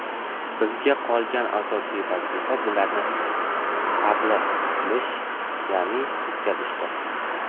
Bizga qolgan asosiy vazifa bularni tablig‘ qilish, ya’ni yetkazishdir.